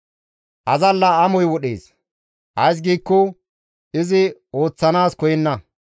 Azalla amoy wodhees; ays giikko izi ooththanaas koyenna.